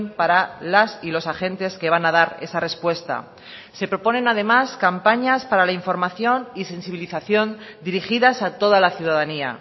para las y los agentes que van a dar esa respuesta se proponen además campañas para la información y sensibilización dirigidas a toda la ciudadanía